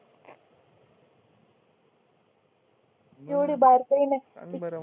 एवढी बारकायी